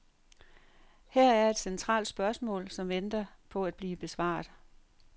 Her er et centralt spørgsmål, som venter på at blive besvaret.